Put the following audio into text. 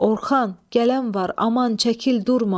Orxan, gələn var, aman çəkil, durma!